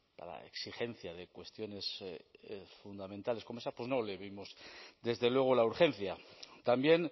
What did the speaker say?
para exigencia de cuestiones fundamentales como se esa pues no le vimos desde luego la urgencia también